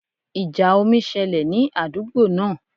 Ìjà omi ṣẹlẹ̀ ní àdúgbò náà